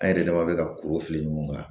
An yɛrɛ dama bɛ ka kuru fili ɲɔgɔn kan